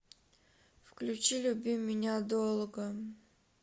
включи люби меня долго